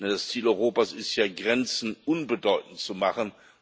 Denn das Ziel Europas ist ja, Grenzen unbedeutend zu machen.